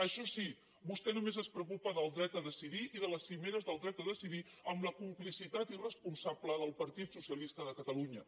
això sí vostè només es preocupa del dret a decidir i de les cimeres del dret a decidir amb la complicitat irresponsable del partit socialista de catalunya